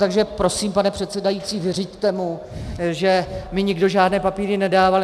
Takže prosím, pane předsedající, vyřiďte mu, že mi nikdo žádné papíry nedával.